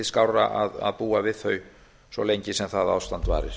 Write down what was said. skárra að búa við þau svo lengi sem það ástand varir